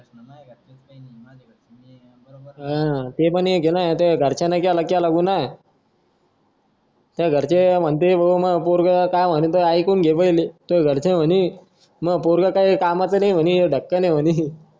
हां ते पण एक ना तुझ्या घरच्यांनी केला केला गुन्हा तुझ्या घरचे म्हणतील भो मां पोरगं काय म्हणतं एकूण घे पहिले तुझ्या घरचे म्हणे मां पोरगं काय कामाचे नाही म्हणी ढक्कन म्हणे